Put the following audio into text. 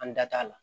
An da t'a la